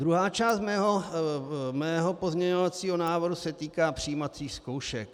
Druhá část mého pozměňovacího návrhu se týká přijímacích zkoušek.